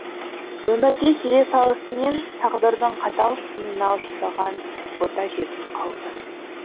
өмірге келе салысымен тағдырдың қатал сынына ұшыраған бота жетім қалды